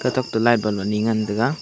tokto light bulb ani ngan taiga.